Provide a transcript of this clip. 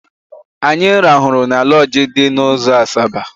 Anyị rahụrụ na lọọjị dị n'ụzọ Asaba.